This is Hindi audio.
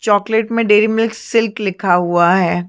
चॉकलेट में डेरी मिल्क सिल्क लिखा हुआ है।